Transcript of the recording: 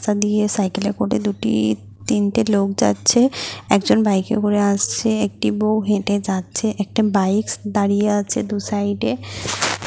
এখান দিয়ে সাইকেলে করে দুটিই তিনটি লোক যাচ্ছে। একজন বাইক -এ করে আসছে একটি বউ হেটে যাচ্ছে। একটা বাইক -স্ দাঁড়িয়ে আছে দু সাইড -এ ।